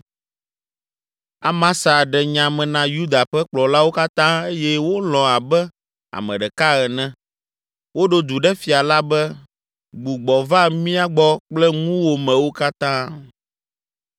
Amasa ɖe nya me na Yuda ƒe kplɔlawo katã eye wolɔ̃ abe ame ɖeka ene. Woɖo du ɖe fia la be, “Gbugbɔ va mía gbɔ kple ŋuwòmewo katã.”